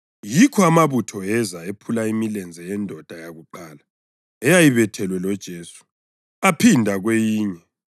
Yikho amabutho eza ephula imilenze yendoda yakuqala eyayibethelwe loJesu, aphinda lakweyinye.